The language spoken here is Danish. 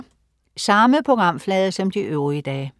Samme programflade som de øvrige dage